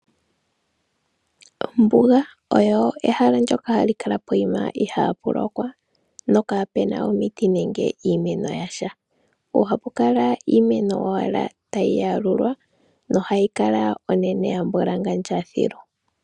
Ombuga oyo ehala ndyoka hali kala pokuma ihaa pu lokwa no kapu na omiti nenge iimeno yasha. Oha pu kala iimeno owala tayi yalulwa hayi kala onene yambwalangandja thilu.